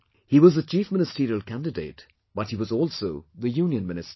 He was the Chief Ministerial candidate; but he was also the Union Minister